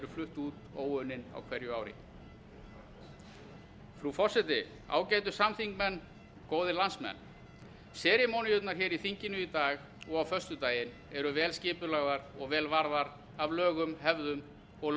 flutt út óunnin á hverju ári frú forseti ágætu samþingmenn góðir landsmenn seremóníurnar hér í þinginu í dag og á föstudaginn eru vel skipulagðar og vel varðar af lögum hefðum og